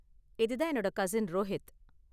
இது தான் என்னோட கஸின் ரோஹித்